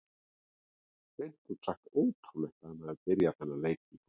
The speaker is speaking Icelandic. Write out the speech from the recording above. Hreint út sagt ótrúlegt að hann hafi byrjað þennan leik í kvöld.